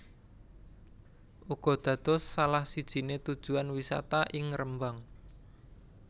uga dados salah sijine tujuan wisata ing Rembang